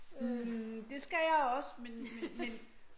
Hm det skal jeg også men men men